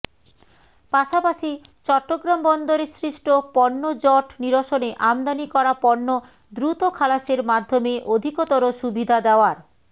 পাশাপাশি চট্টগ্রাম বন্দরে সৃষ্ট পণ্যজট নিরসনে আমদানি করা পণ্য দ্রুত খালাসের মাধ্যমে অধিকতর সুবিধা দেওয়ার